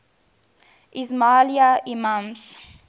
ismaili imams